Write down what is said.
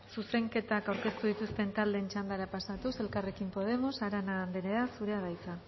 zuzenketak aurkeztu dituzten taldeen txandara pasatuz elkarrekin podemos arana andrea zurea da hitza